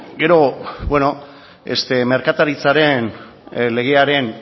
gero merkataritzaren legearen